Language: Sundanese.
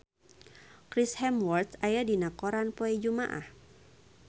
Chris Hemsworth aya dina koran poe Jumaah